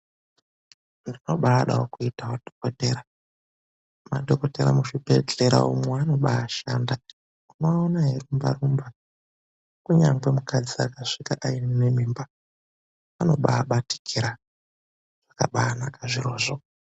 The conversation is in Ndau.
Ndinobaadawo kuitawo Dhokothera. Madhokothera muzvibhedhlera umwo anobaashanda, unoaona eirumbarumba. Kunyangwe mukadzi akasvika aine mimba vanobaabatikira, zvakabaanaka zvirozvo.